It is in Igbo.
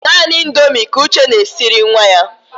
Naanị Indomi ka Uche na-esiri nwa ya.